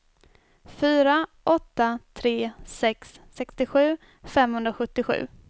fyra åtta tre sex sextiosju femhundrasjuttiosju